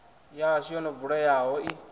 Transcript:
yashu yo no vuleyaho i